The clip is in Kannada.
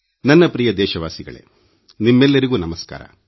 ನನ್ನ ಪ್ರಿಯ ದೇಶವಾಸಿಗಳೇ ನಿಮ್ಮೆಲ್ಲರಿಗೂ ನಮಸ್ಕಾರ